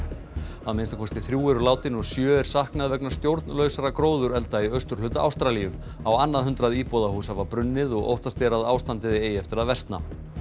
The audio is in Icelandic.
að minnsta kosti þrjú eru látin og sjö er saknað vegna stjórnlausra gróðurelda í austurhluta Ástralíu á annað hundrað íbúðarhús hafa brunnið og óttast er að ástandið eigi eftir að versna